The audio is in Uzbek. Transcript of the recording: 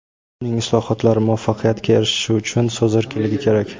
uning islohotlari muvaffaqiyatga erishishi uchun so‘z erkinligi kerak.